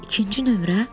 İkinci nömrə?